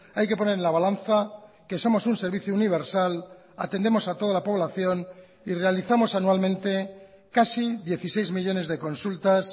hay que poner en la balanza que somos un servicio universal atendemos a toda la población y realizamos anualmente casi dieciséis millónes de consultas